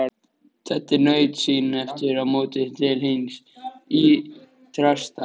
Teddi naut sín aftur á móti til hins ýtrasta.